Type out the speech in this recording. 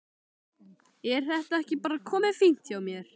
Er þetta ekki bara komið fínt hjá mér?